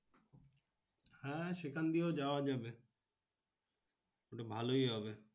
হ্যাঁ সেখান দিয়েও যাওয়া যাবে। তাহলে ভালোই হবে।